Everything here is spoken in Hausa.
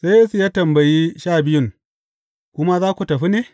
Sai Yesu ya tambayi Sha Biyun, Ku ma za ku tafi ne?